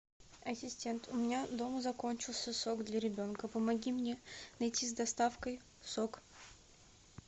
ассистент у меня дома закончился сок для ребенка помоги мне найти с доставкой сок